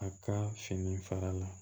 A ka fini fara la